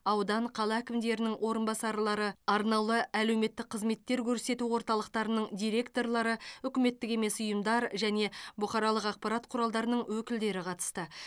аудан қала әкімдерінің орынбасарлары арнаулы әлеуметтік қызметтер көрсету орталықтарының директорлары үкіметтік емес ұйымдар және бұқаралық ақпарат құралдарының өкілдері қатысты